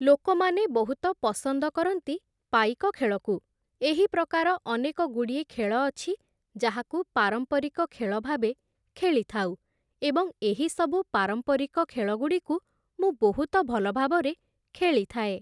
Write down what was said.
ଲୋକମାନେ ବହୁତ ପସନ୍ଦ କରନ୍ତି ପାଇକ ଖେଳକୁ, ଏହି ପ୍ରକାର ଅନେକଗୁଡ଼ିଏ ଖେଳ ଅଛି ଯାହାକୁ ପାରମ୍ପରିକ ଖେଳ ଭାବେ ଖେଳିଥାଉ, ଏବଂ ଏହି ସବୁ ପାରମ୍ପରିକ ଖେଳଗୁଡ଼ିକୁ ମୁଁ ବହୁତ ଭଲ ଭାବରେ ଖେଳିଥାଏ